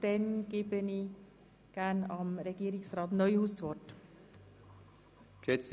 Somit erteile ich gerne Regierungsrat Neuhaus das Wort. .